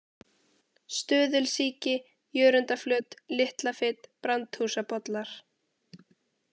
Stöðulsíki, Jörundarflöt, Litla-Fit, Brandshúsabollar